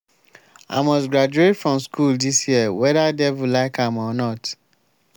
i must graduate from school dis year whether devil like am or not